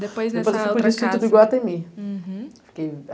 Depois nessa outra casa, eu fui para o Instituto de Guatemi, uhum, fiquei